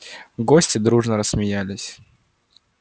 гости дружно рассмеялись